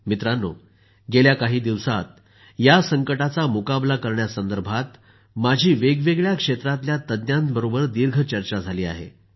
मित्रांनो गेल्या काही दिवसात या संकटाचा मुकाबला करण्यासंदर्भात माझी वेगवेगळ्या क्षेत्रांतल्या तज्ज्ञांबरोबर दीर्घ चर्चा झाली आहे